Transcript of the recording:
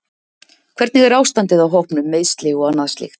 Hvernig er ástandið á hópnum, meiðsli og annað slíkt?